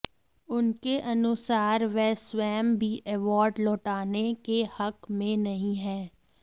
उनके अनुसार वह स्वयं भी अवार्ड लौटाने के हक में नहीं है